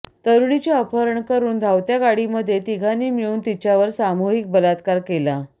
तरुणीचे अपहरण करुन धावत्या गाडीमध्ये तिघांनी मिळून तिच्यावर सामूहीक बलात्कार केला